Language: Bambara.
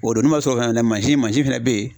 O don n'o ma sɔrɔ fɛnɛ mansin mansin fɛnɛ bɛ yen